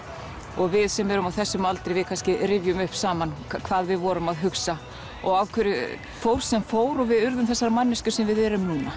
og við sem erum á þessum aldri kannski rifjum upp saman hvað við vorum að hugsa og af hverju fór sem fór og við urðum þessar manneskjur sem við erum núna